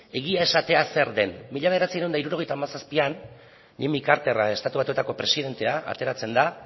egia esatea zer den mila bederatziehun eta hirurogeita hamazazpian jimmy carter estatu batuetako presidentea ateratzen da